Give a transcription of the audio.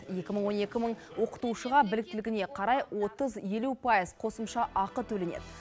екі мың он екі мың оқытушыға біліктілігіне қарай отыз елу пайыз қосымша ақы төленеді